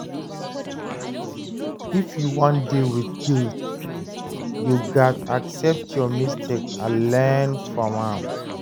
If you wan deal wit guilt, you gats accept your mistake and learn from am